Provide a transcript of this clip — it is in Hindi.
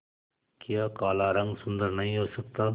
क्या काला रंग सुंदर नहीं हो सकता